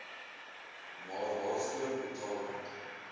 maar waarvoor betaling